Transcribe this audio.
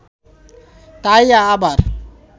তাই আবার